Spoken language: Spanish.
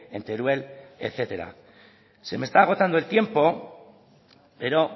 en teruel etcétera se me está agotando el tiempo pero